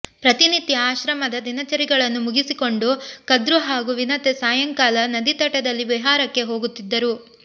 ಪ್ರತಿನಿತ್ಯ ಆಶ್ರಮದ ದಿನಚರಿಗಳನ್ನು ಮುಗಿಸಿಕೊಂಡು ಕದ್ರು ಹಾಗೂ ವಿನತೆ ಸಾಯಂಕಾಲ ನದೀತಟದಲ್ಲಿ ವಿಹಾರಕ್ಕೆ ಹೋಗುತ್ತಿದ್ದರು